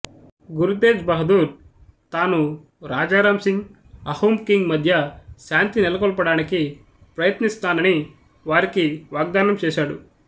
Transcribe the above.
గురు తేజ్ బహదూర్ తాను రాజారాం సింగ్ అహూం కింగ్ మధ్య శాంతి నెలకొల్పడానికి ప్రయత్నిస్తానని వారికి వాగ్ధానం చేసాడు